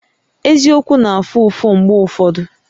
Eziokwu na-afụ ụfụ mgbe ụfọdụ